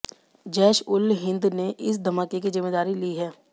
जैश उल हिन्द ने इस धमाके की ज़िम्मेदारी ली है